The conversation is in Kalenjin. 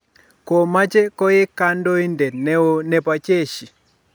komache koek kandoindet neo nebo jeshi